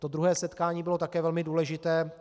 To druhé setkání bylo také velmi důležité.